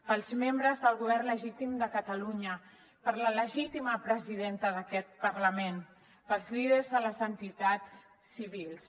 pels membres del govern legítim de catalunya per la legítima presidenta d’aquest parlament pels líders de les entitats civils